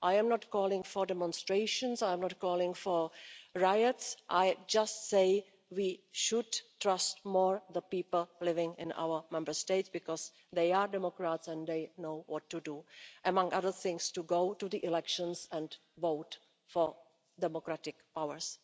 I am not calling for demonstrations, I'm not calling for riots, I just say we should trust more the people living in our Member States because they are democrats and they know what to do among other things, to go to the elections and vote for democratic powers.